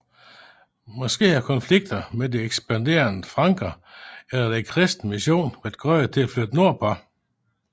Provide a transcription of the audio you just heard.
Måske har konflikter med de ekspanderende franker eller den kristne mission været grunde til at flytte nordpå